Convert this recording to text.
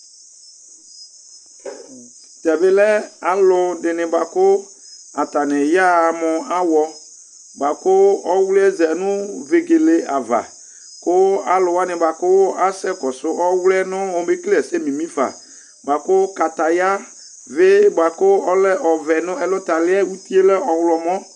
tɛbi lɛ alu ɛdini bua ku atani yaha mu awɔ bua ku ɔwluiɛ zanu véguélé ava ku alu wani bua ku asɛ kɔsu ɔwluiɛ nu ɔmé kélé ɛsɛ mimi fă bua ku kataya b vé bua ku ɔlɛ ɔvɛ nɛ ɛlu tali uti lɛ mu ɔwlɔmɔ